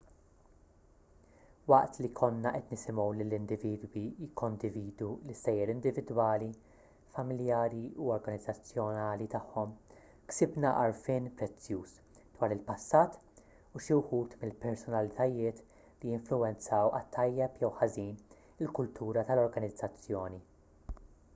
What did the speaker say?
waqt li konna qed nisimgħu lill-individwi jikkondividu l-istejjer individwali familjari u organizzazzjonali tagħhom ksibna għarfien prezzjuż dwar il-passat u xi wħud mill-personalitajiet li influwenzaw għat-tajjeb jew ħażin il-kultura tal-organizzazzjoni